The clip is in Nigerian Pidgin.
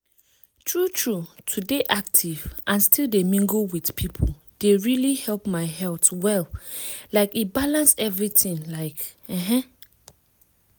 true true to dey active and still dey mingle with people dey really help my health well like e balance everything like ehn.